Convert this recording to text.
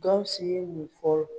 Gawusu ye mun fɔ